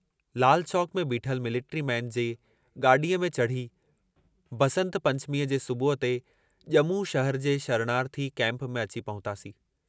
लाल चौक में बीठल military man जे गाड़ीअ में चढ़ी, बसंत पंचमीअ जे सुबुह ते ॼमू शहर जे शरणार्थी कैम्प में अची पहुतासीं।